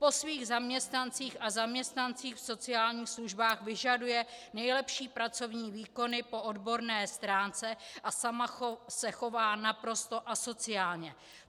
Po svých zaměstnancích a zaměstnancích v sociálních službách vyžaduje nejlepší pracovní výkony po odborné stránce, a sama se chová naprosto asociálně.